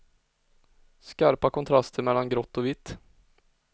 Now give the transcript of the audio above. Skarpa kontraster mellan grått och vitt.